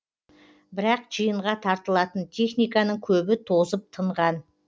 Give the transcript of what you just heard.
бірақ жиынға тартылатын техниканың көбі тозып тынған